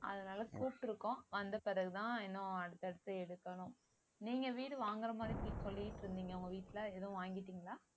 அதனாலே கூப்பிட்டு இருக்கோம் வந்த பிறகுதான் இன்னும் அடுத்தடுத்து எடுக்கணும் நீங்க வீடு வாங்குற மாதிரி சொல்லிட்டு இருந்தீங்க உங்க வீட்டுலே எதுவும் வாங்கிட்டிங்களா